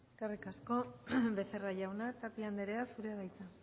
eskerrik asko becerra jauna tapia anderea zurea da hitza